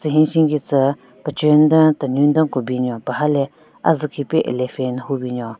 Ro tsü hensin kitsü pechenyu den tenunyu den ku binyon paha le azü khipe elephant hyu binyon.